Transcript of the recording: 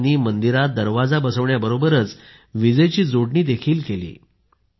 युवकांनी मंदिरात दरवाजा बसवण्याबरोबरच विजेची जोडणी देखील केली